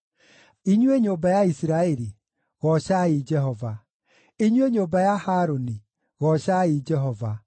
Inyuĩ nyũmba ya Isiraeli, goocai Jehova; Inyuĩ nyũmba ya Harũni, goocai Jehova;